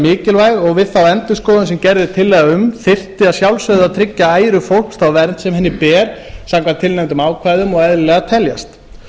mikilvæg og við þá endurskoðun sem gert er tillaga um þyrfti að sjálfsögðu að tryggja æru fólks þá vernd sem henni ber samkvæmt tilnefndum ákvæðum og eðlilegar teljast